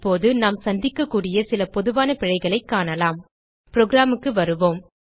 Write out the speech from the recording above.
இப்போது நாம் சந்திக்கக்கூடிய சில பொதுவான பிழைகளைக் காணலாம் programக்கு வருவோம்